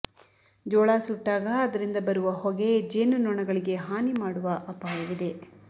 ಜೋಳ ಸುಟ್ಟಾಗ ಅದರಿಂದ ಬರುವ ಹೊಗೆ ಜೇನು ನೊಣಗಳಿಗೆ ಹಾನಿ ಮಾಡುವ ಅಪಾಯವಿದೆ